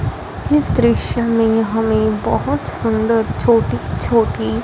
इस दृश्य में यहां एक बहोत सुंदर छोटी छोटी--